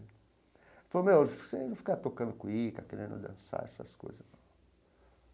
Ele falou, meu, você não fica tocando cuíca, querendo dançar essas coisas não.